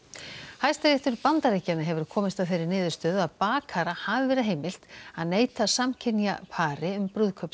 Hæstiréttur Bandaríkjanna hefur komist að þeirri niðurstöðu að bakara hafi verið heimilt að neita samkynja pari um